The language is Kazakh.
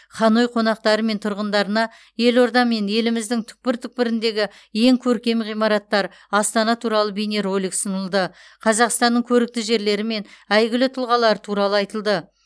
ханой қонақтары мен тұрғындарына елорда мен еліміздің түкпір түкпіріндегі ең көркем ғимараттар астана туралы бейнеролик ұсынылды қазақстанның көрікті жерлері мен әйгілі тұлғалары туралы айтылды